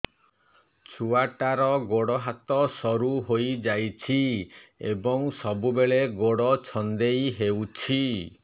ଛୁଆଟାର ଗୋଡ଼ ହାତ ସରୁ ହୋଇଯାଇଛି ଏବଂ ସବୁବେଳେ ଗୋଡ଼ ଛଂଦେଇ ହେଉଛି